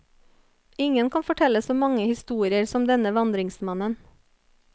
Ingen kan fortelle så mange historier som denne vandringsmannen.